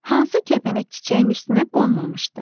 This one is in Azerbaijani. Hansı kəpənək çiçəyin üstünə qonmamışdı?